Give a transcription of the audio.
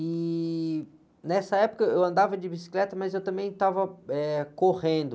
Ih, e nessa época eu andava de bicicleta, mas eu também estava, eh, correndo.